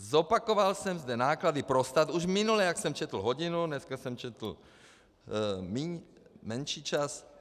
Zopakoval jsem zde náklady pro stát už minule, jak jsem četl hodinu, dneska jsem četl menší čas.